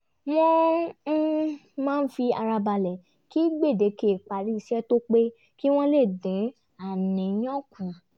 wọ́n um máa fi ara balẹ̀ kí gbèdéke ìparí iṣẹ́ tó pé kí wọ́n lè dín àníyàn kù